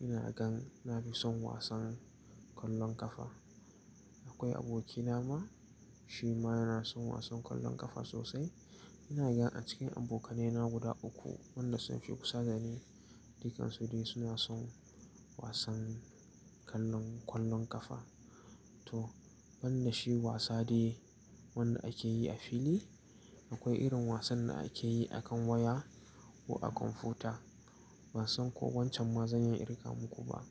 ina gan na fi son wasan kwallon kafa. Akwai abokina ma, shi ma yana son wasan kwallon kafa sosai. Ina gan a cikin abokanaye na guda uku, wanda sun fi kusa da ni, dukansu dai suna son wasan kallon kwallon kafa. To, wannan shi wasa ne wanda akeyi a fili. Akwai irin wasan da akeyi a kan waya ko a kwamfuta. Ban san ko wancan mazani in rika muku ba.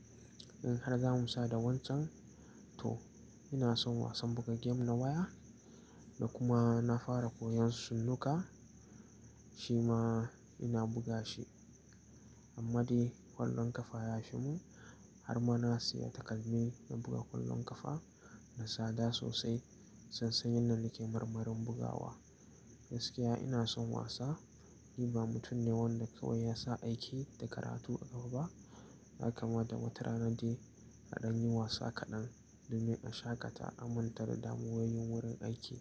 In har zamu sada wancan, to ina son wasan buga gem na waya da kuma na fara koyon sunnuka, shi ma ina buga shi. Amma dai kwallon kafa ya fi mun har ma na siya takalmi na buga kwallon kafa. Mai tsada sosai. Sassan yinn nan ne ke marmarin bugawa. Gaskiya ina son wasa. Ni ba mutum ne wanda kawai yasa aiki da karatu a ƙafa ba. Haka ma da wata rana dai aɗan yi wasa kaɗan domin a shaƙata amintar damuwoyin wurin aiki.